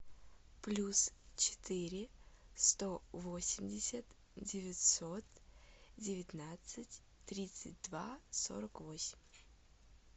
плюс четыре сто восемьдесят девятьсот девятнадцать тридцать два сорок восемь